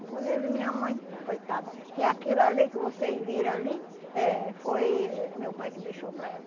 Inclusive minha mãe, coitada, que aquilo ali que vocês viram ali, eh foi eh meu pai que deixou para ela.